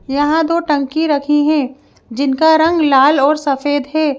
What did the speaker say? यहां दो टंकी रखी हैं जिनका रंग लाल और सफेद है।